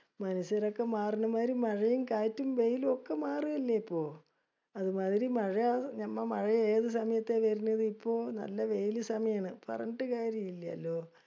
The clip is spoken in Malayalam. മനുഷ്യരൊക്കെ മാറണമായിരി മഴയും കാറ്റും വെയിലും ഒക്കെ മാറുകയല്ലേ ഇപ്പൊ. അതുമാതിരി മഴ ഞമ്മ മഴ ഏത് സമയത്ത വരണത്! . ഇപ്പൊ നല്ല വെയില് സമയാണ്. പറഞ്ഞിട്ട് കാര്യല്യാലോ